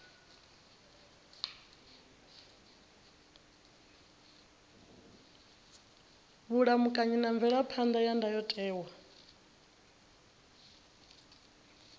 vhulamukanyi na mvelaphan ḓa ya ndayotewa